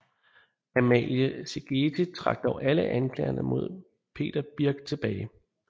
Amalie Szigethy trak dog alle anklagerne mod Peter Birch tilbage